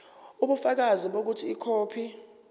ubufakazi bokuthi ikhophi